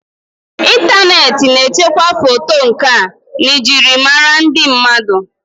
Ịntaneti ga echekwa foto nkà njirimara ndị mmadụ.